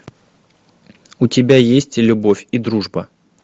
у тебя есть любовь и дружба